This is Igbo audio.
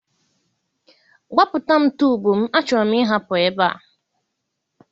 Gbapụta m tube m, achọrọ m ịhapụ ebe a.